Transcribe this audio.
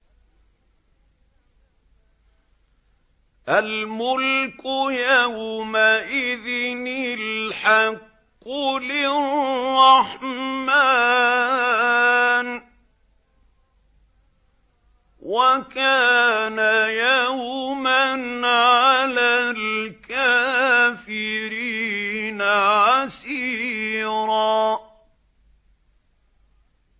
الْمُلْكُ يَوْمَئِذٍ الْحَقُّ لِلرَّحْمَٰنِ ۚ وَكَانَ يَوْمًا عَلَى الْكَافِرِينَ عَسِيرًا